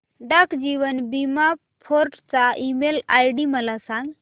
डाक जीवन बीमा फोर्ट चा ईमेल आयडी मला सांग